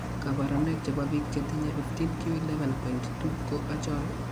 kabarrunaik chebo biik chetinye 15q11.2 ko achon ?